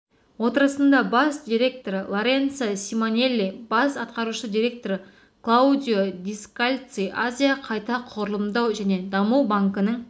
отырысында бас директоры лоренцо симонелли бас атқарушы директоры клаудио дескальци азия қайта құрылымдау және даму банкінің